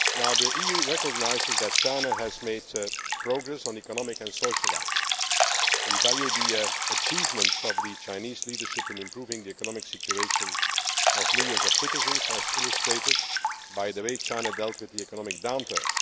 as well. The EU recognises that China has made progress on economic and social rights. We value the achievements of the Chinese leadership in improving the economic situation of millions of citizens, as illustrated by the way China dealt with the economic